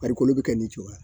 farikolo bɛ kɛ nin cogoya